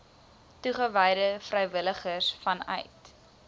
toegewyde vrywilligers vanuit